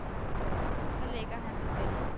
Så lægger han sig der.